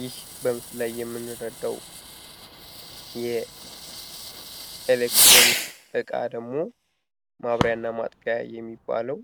ይህ በምስሉ ላይ የምንረዳው የኤሌክትሮኒክ ዕቃ ደግሞ ማብሪያና ማጥፊያ የሚባለው